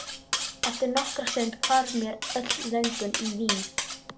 Eftir nokkra stund hvarf mér öll löngun í vín.